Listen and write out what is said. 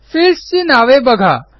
fields ची नावे बघा